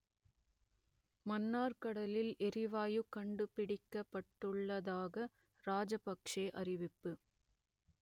மன்னார் கடலில் எரிவாயு கண்டுபிடிக்கப்பட்டுள்ளதாக ராஜபக்‌ஷே அறிவிப்பு